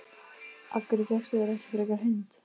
Af hverju fékkstu þér ekki frekar hund?